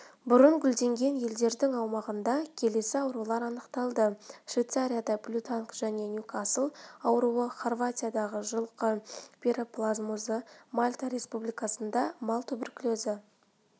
бұрын гүлденген елдердің аумағында келесі аурулар анықталды швейцарияда блютанг және ньюкасл ауруы хорватиядағы жылқы пироплазмозы мальта республикасында мал туберкулезі